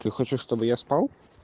ты хочешь чтобы я спал